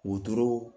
Wotoro